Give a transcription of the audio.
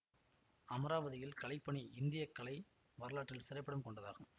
அமராவதியில் கலைப்பணி இந்திய கலை வரலாற்றில் சிறப்பிடம் கொண்டதாகும்